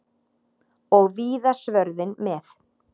Og víða svörðinn með.